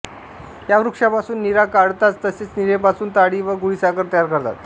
या वृक्षापासून नीरा काढतात तसेच नीरेपासून ताडी व गुळीसाखर तयार करतात